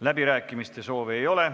Läbirääkimiste soovi ei ole.